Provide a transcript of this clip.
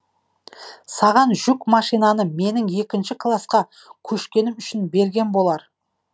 саған жүк машинаны менің екінші класқа көшкенім үшін берген болар